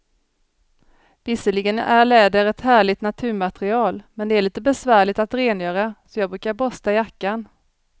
Visserligen är läder ett härligt naturmaterial, men det är lite besvärligt att rengöra, så jag brukar borsta jackan.